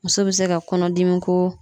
Muso bɛ se ka kɔnɔdimi ko